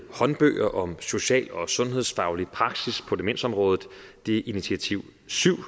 håndbøger om social og sundhedsfaglig praksis på demensområdet det er initiativ syvende